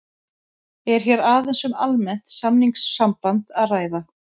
Er hér aðeins um almennt samningssamband að ræða.